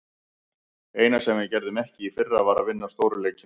Eina sem við gerðum ekki í fyrra, var að vinna stóru leikina.